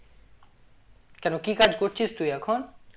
কেন কি কাজ করছিস তুই এখন?